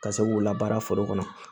Ka se k'u labaara foro kɔnɔ